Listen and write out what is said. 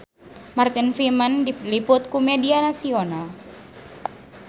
Martin Freeman diliput ku media nasional